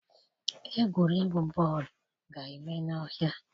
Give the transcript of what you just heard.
Egwuregwu bọọlụ ga-eme n'ọhịa.